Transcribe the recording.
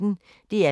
DR P1